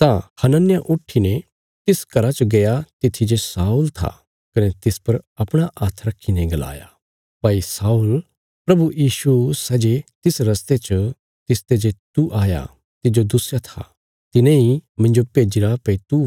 तां हनन्याह उट्ठीने तिस घरा च गया तित्थी जे शाऊल था कने तिस पर अपणा हात्थ रखीने गलाया भाई शाऊल प्रभु यीशु सै जे तिस रस्ते च तिसते जे तू आया तिज्जो दुस्या था तिने इ मिन्जो भेजीरा भई तू